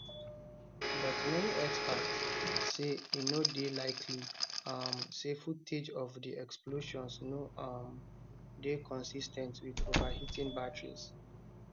but many experts say e no dey likely um say footage of di explosions no um dey consis ten t with overheating batteries